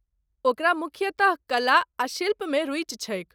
ओकरा मुख्यतः कला आ शिल्पमे रुचि छैक ।